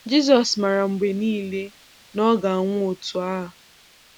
Jisọs maara mgbe niile na Ọ ga-anwụ otu a.